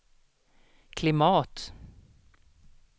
klimat